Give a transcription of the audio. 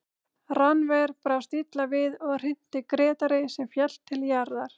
Rannver brást illa við og hrinti Grétari sem féll til jarðar.